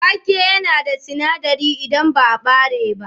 Wake yana da sinadirai idan ba ɓare ba.